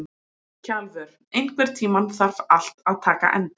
Kjalvör, einhvern tímann þarf allt að taka enda.